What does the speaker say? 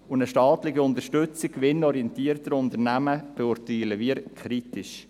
Eine staatliche Unterstützung gewinnorientierter Unternehmen beurteilen wir kritisch.